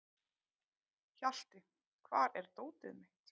Hjalti, hvar er dótið mitt?